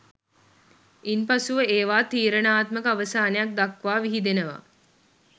ඉන්පසුව ඒවා තීරණාත්මක අවසානයක් දක්වා විහිදෙනවා